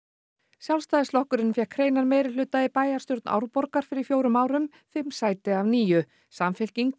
Sjálfstæðisflokkurinn fékk hreinan meirihluta í bæjarstjórn Árborgar fyrir fjórum árum fimm sæti af níu samfylking